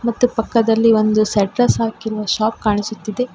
ಮತ್ತು ಪಕ್ಕದಲ್ಲಿ ಒಂದು ಶೆಟ್ಟರ್ಸ್ ಹಾಕಿರುವ ಶಾಪ್ ಕಾಣಿಸುತ್ತಿದೆ.